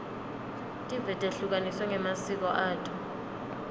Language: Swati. tive tehlukaniswe ngemasiko ato